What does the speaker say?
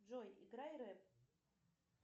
джой играй рэп